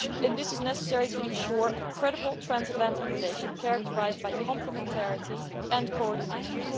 This is necessary to ensure a credible transatlantic relationship characterised by complementarity and coordination.